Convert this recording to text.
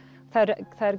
það eru